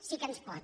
sí que ens pot